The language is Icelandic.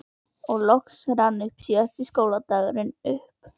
Og loks rann síðasti skóladagurinn upp.